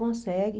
Consegue.